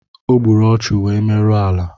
Ogburu ọchu wee merụọ ala